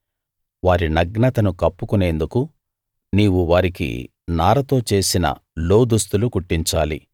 వారి నగ్నతను కప్పుకొనేందుకు నీవు వారికి నారతో చేసిన లోదుస్తులు కుట్టించాలి